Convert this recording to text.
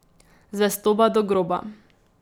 Zvestoba do groba.